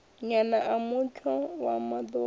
nyana a mutsho wa maḓumbu